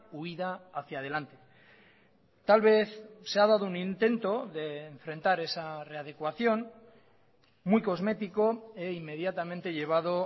huída hacia adelante tal vez se ha dado un intento de enfrentar esa readecuación muy cosmético e inmediatamente llevado